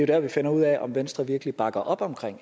der vi finder ud af om venstre virkelig bakker op om